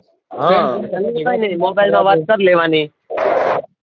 હ mobile માં વાત કર લેવાની